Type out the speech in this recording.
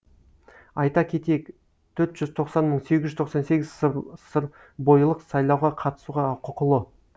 айта кетейік төрт жүз тоқсан мың сегіз жүз тоқсан сегіз сырбойылық сайлауға қатысуға құқылы